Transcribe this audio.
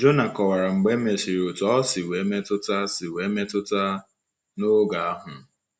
Jona kọwara mgbe e mesịrị otú ọ si nwee mmetụta si nwee mmetụta n’oge ahụ.